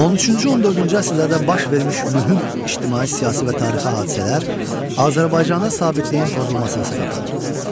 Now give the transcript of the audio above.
13-cü, 14-cü əsrlərdə baş vermiş mühüm ictimai-siyasi və tarixi hadisələr Azərbaycanda sabitliyin pozulmasına səbəb oldu.